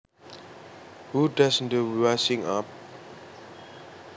Who does the washing up